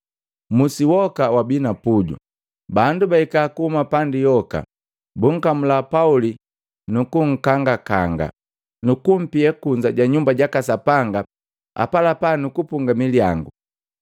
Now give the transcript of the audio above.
Musi woka wabi na puju, bandu bahika kuhuma pandi yoka, bunkamula Pauli nukunkangakanga, numkumpia kunza ja Nyumba jaka Sapanga apalapa nukupunga milyangu.